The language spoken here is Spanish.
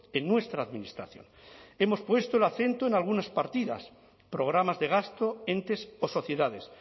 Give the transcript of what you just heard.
en nuestra administración hemos puesto el acento en algunas partidas programas de gasto entes o sociedades